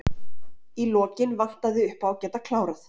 Í lokin vantaði uppá að geta klárað.